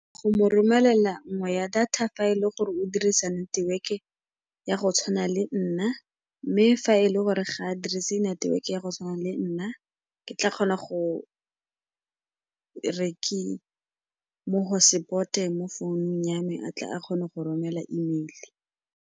Go mo romelela nngwe ya data fa e le gore o dirisa network-e ya go tshwana le nna, mme fa e le gore ga a dirise network-e ya go tshwana le nna, ke tla kgona go re ke mo hosepote mo founung ya me gore a tle a kgone go romela email-e.